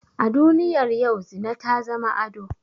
A duniyar yau zina ta zama ado